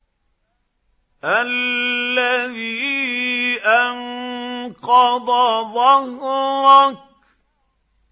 الَّذِي أَنقَضَ ظَهْرَكَ